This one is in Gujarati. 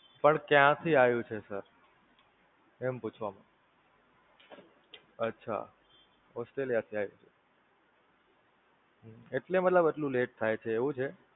પણ ક્યાંથી આવ્યું છે Sir? એમ પૂછવા, અચ્છા Australia થી આવ્યું છે, એટલે મતલબ એટલું Lat થાય છે એવું છે?